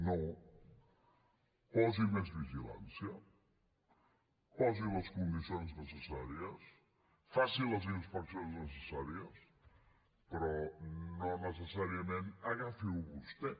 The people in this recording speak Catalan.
no posi més vigilància posi les condicions necessàries faci les inspeccions necessàries però no necessàriament agafiho vostè